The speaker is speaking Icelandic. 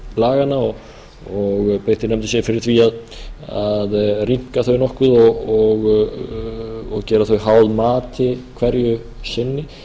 laganna og beitti nefndin sér fyrir því að rýmka þau nokkuð og gera þau háð mati hverju sinni